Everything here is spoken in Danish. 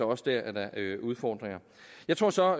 også dér er der udfordringer jeg tror så